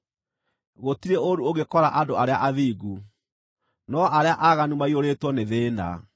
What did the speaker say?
Gũtirĩ ũũru ũngĩkora andũ arĩa athingu, no arĩa aaganu maiyũrĩtwo nĩ thĩĩna.